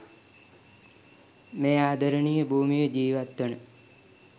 මේ ආදරණීය භූමියේ ජීවත්වන